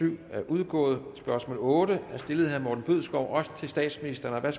syv er udgået spørgsmål otte er stillet af herre morten bødskov også til statsministeren